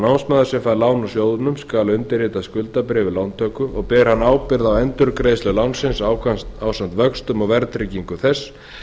námsmaður sem fær lán úr sjóðnum skal undirrita skuldabréf við lántöku og ber hann ábyrgð á endurgreiðslu lánsins ásamt vöxtum og verðtryggingu þess